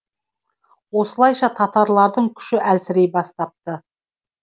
осылайша татарлардың күші әлсірей бастапты